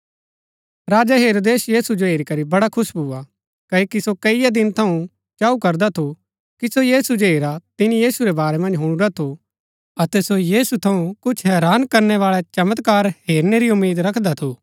राजा हेरोदेस यीशु जो हेरी करी बड़ा खुश भुआ कओकि सो कईआ दिन थऊँ चाऊ करदा थू कि सो यीशु जो हेरा तिनी यीशु रै बारै मन्ज हुणुरा थू अतै सो यीशु थऊँ कुछ हैरान करनै बाळै चमत्कार हेरनै री उम्मीद रखदा थू